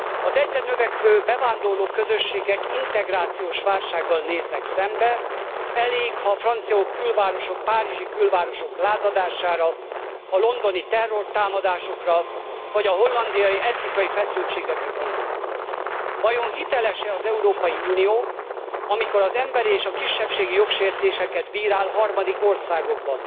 Az egyre növekvő bevándorló közösségek integrációs válsággal néznek szembe, elég, ha a francia külvárosok, párizsi külvárosok lázadására, a londoni terrortámadásokra vagy a hollandiai etnikai feszültségekre gondolunk. Vajon hiteles e az Európai Unió, amikor emberi és kisebbségi jogsértéseket bírál harmadik országokban?